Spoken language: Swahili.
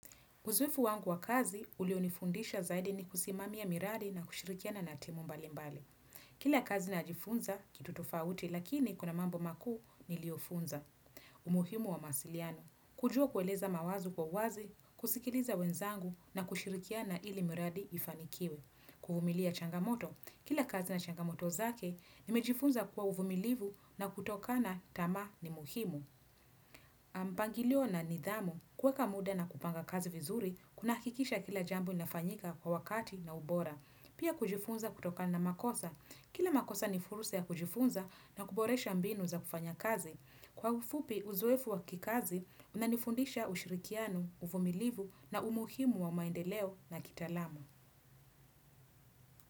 Uzoefu wangu wa kazi, ulio nifundisha zaidi ni kusimamia miradi na kushirikiana na timu mbali mbali. Kila kazi najifunza, kitu tofauti, lakini kuna mambo makuu nilio funza. Umuhimu wa masiliano. Kujua kueleza mawazo kwa uwazi, kusikiliza wenzangu na kushirikiana ili miradi ifanikiwe. Kuvumilia changamoto, kila kazi na changamoto zake, nimejifunza kuwa uvumilivu na kutoka na tamaa ni muhimu. Mpangilio na nidhamu, kuweka muda na kupanga kazi vizuri, kuna hakikisha kila jambo inafanyika kwa wakati na ubora Pia kujifunza kutoka na makosa, kila makosa ni fursa ya kujifunza na kuboresha mbinu za kufanya kazi Kwa ufupi uzuefu wa kikazi, unanifundisha ushirikiano, uvumilivu na umuhimu wa maendeleo na kitaalamu.